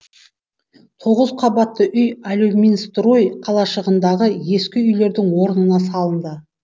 тоғыз қабатты үй алюминстрой қалашығындағы ескі үйлердің орнына салынды